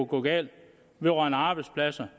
gå galt vedrørende arbejdspladser